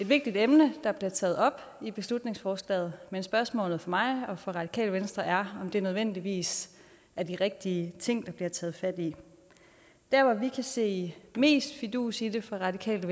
vigtigt emne der bliver taget op i beslutningsforslagene men spørgsmålet for mig og for radikale venstre er det nødvendigvis er de rigtige ting der bliver taget fat i der hvor vi kan se mest fidus i det fra radikale